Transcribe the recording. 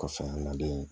Kɔfɛ an ka den